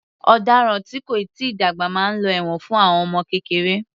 Ọ̀daràn tí kò tíì dàgbà máa lọ ẹ̀wọ̀n fún àwọn ọmọ kékeré